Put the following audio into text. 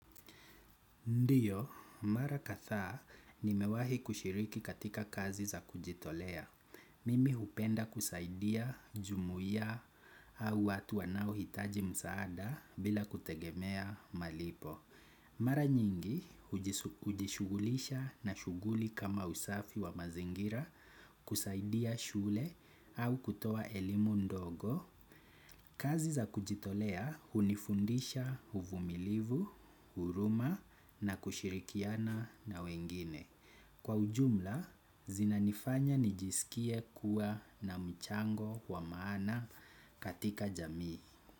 Ndiyo, mara kathaa nimewahi kushiriki katika kazi za kujitolea. Mimi hupenda kusaidia, jumuiya au watu wanao hitaji msaada bila kutegemea malipo. Mara nyingi ujishugulisha na shuguli kama usafi wa mazingira kusaidia shule au kutoa elimu ndogo. Kazi za kujitolea unifundisha uvumilivu, huruma na kushirikiana na wengine. Kwa ujumla, zina nifanya nijisikie kuwa na mchango wa maana katika jamii.